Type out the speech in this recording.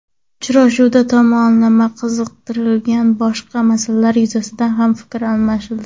Uchrashuvda tomonlarni qiziqtirgan boshqa masalalar yuzasidan ham fikr almashildi.